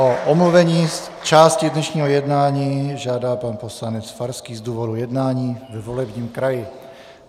O omluvení z části dnešního jednání žádá pan poslanec Farský z důvodu jednání ve volebním kraji.